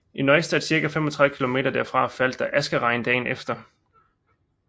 I Neustadt cirka 35 kilometer derfra faldt der askeregn dagen efter